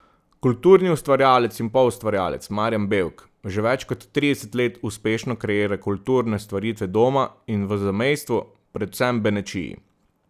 Kulturni ustvarjalec in poustvarjalec Marjan Bevk že več kot trideset let uspešno kreira kulturne stvaritve doma in v zamejstvu, predvsem Benečiji.